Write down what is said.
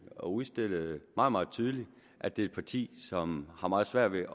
og udstillede meget meget tydeligt at det er et parti som har meget svært ved